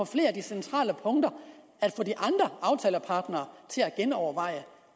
flere centrale punkter om at genovervejer